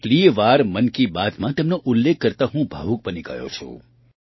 કેટલીય વાર મન કી બાતમાં તેમનો ઉલ્લેખ કરતા હું ભાવુક બની ગયો છું